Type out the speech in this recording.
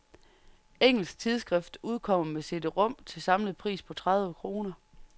Engelsk tidsskrift udkommer med cd-rom til samlet pris på tredive kroner.